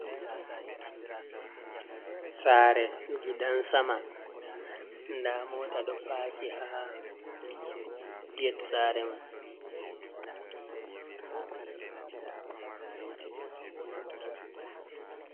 Sare gidan-sama: Nda mota ɗo parki ha gate sare man.